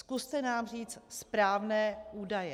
Zkuste nám říct správné údaje.